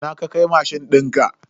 Ina ka kai mashin dinka?